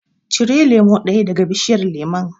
Cire lemo ɗaya daga bishiyar lemon.